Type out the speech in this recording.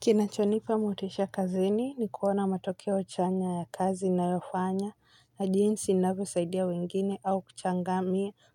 Kinachonipa motisha kazini ni kuona matokeo chanya ya kazi nayofanya na jinsi navyosaidia wengine au